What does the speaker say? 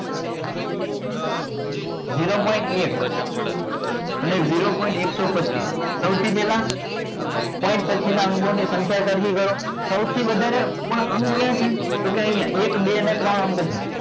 zero point એક અને zero point એકસો પચીસ સૌથી પહેલા point પછીના અંકોને સંખ્યા સરખી કરો સૌથી વધારે તો ક્યાં અહીંયા એક બે ને ત્રણ અંકો છે